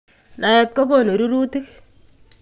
Naet kokonu rurutik